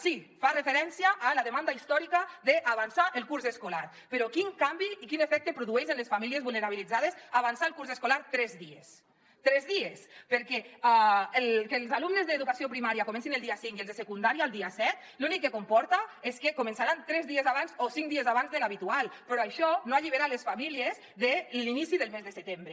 sí fa referència a la demanda històrica d’avançar el curs escolar però quin canvi i quin efecte produeix en les famílies vulnerabilitzades avançar el curs escolar tres dies tres dies perquè que els alumnes d’educació primària comencin el dia cinc i els de secundària el dia set l’únic que comporta és que començaran tres dies abans o cinc dies abans de l’habitual però això no allibera les famílies de l’inici del mes de setembre